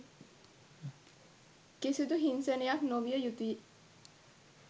කිසිදු හිංසනයක් නොවිය යුතුයි